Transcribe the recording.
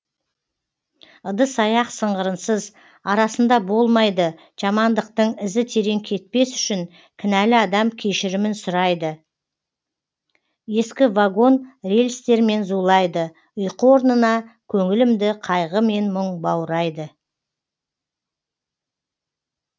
ыдыс аяқ сыңғырынсыз арасында болмайды жамандықтың ізі терең кетпес үшін кінәлі адам кешірімін сұрайды ескі вагон рельстермен зулайды ұйқы орнына көңілімді қайғы мен мұң баурайды